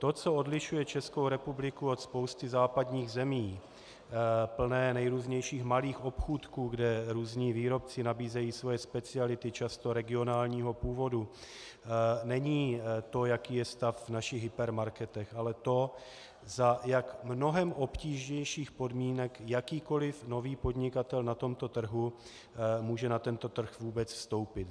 To, co odlišuje Českou republiku od spousty západních zemí plných nejrůznějších malých obchůdků, kde různí výrobci nabíjejí svoje speciality často regionálního původu, není to, jaký je stav v našich hypermarketech, ale to, za jak mnohem obtížnějších podmínek jakýkoli nový podnikatel na tomto trhu může na tento trh vůbec vstoupit.